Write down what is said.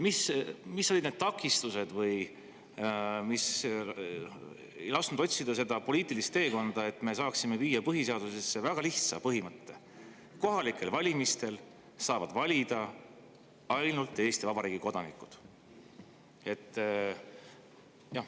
Mis olid need takistused, mis ei lasknud otsida poliitilist teekonda, et me saaksime viia põhiseadusesse väga lihtsa põhimõtte: kohalikel valimistel saavad valida ainult Eesti Vabariigi kodanikud?